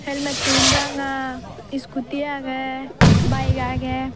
helmet tun ranga scooty agey bike agey.